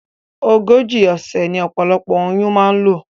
Ogójì òsè ní opolopo oyún ma n lò